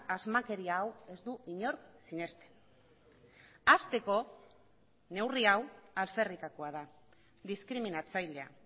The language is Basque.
asmakeria hau ez du inork sinesten hasteko neurri hau alferrikakoa da diskriminatzailea